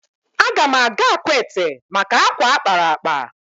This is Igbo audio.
Aga m aga Akwete maka akwa a kpara akpa